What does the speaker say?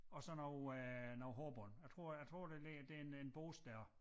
Og så noget øh noget hårbånd jeg tror jeg tror der ligger der en en børste dér